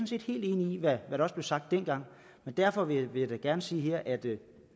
set helt enig i hvad der også blev sagt dengang men derfor vil jeg da gerne sige her at det